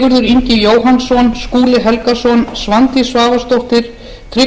ingi jóhannsson skúli helgason svandís svavarsdóttir tryggvi þór